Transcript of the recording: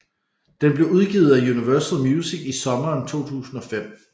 Den blev udgivet af Universal Music i sommeren 2005